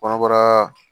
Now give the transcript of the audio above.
Kɔnɔbara